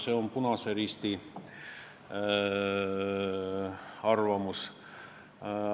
See on Eesti Punase Risti arvamus.